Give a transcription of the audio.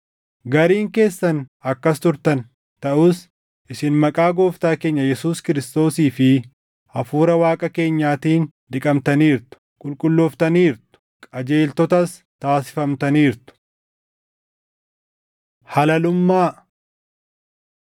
Gariin keessan akkas turtan. Taʼus isin maqaa Gooftaa keenya Yesuus Kiristoosii fi Hafuura Waaqa keenyaatiin dhiqamtaniirtu; qulqullooftaniirtu; qajeeltotas taasifamtaniirtu. Halalummaa